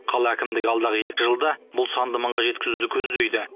қала әкімдігі алдағы екі жылда бұл санды мыңға жеткізуді көздейді